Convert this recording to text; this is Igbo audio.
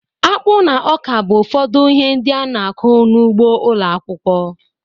Akpụ na ọka bụ ụfọdụ ihe ndị a na-akụ n'ugbo ụlọ akwụkwọ.